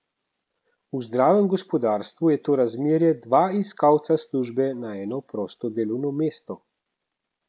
V zdravem gospodarstvu je to razmerje dva iskalca službe na eno prosto delovno mesto.